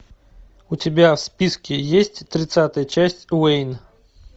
у тебя в списке есть тридцатая часть уэйн